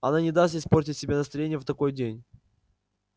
она не даст испортить себе настроение в такой день